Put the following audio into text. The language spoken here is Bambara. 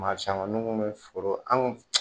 Maa caman n'u be foro an kun